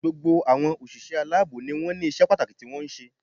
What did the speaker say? Gbogbo àwọn òṣìṣẹ́ aláàbò ni wọ́n ní isé pàtàkì tí wọ́n ń ṣe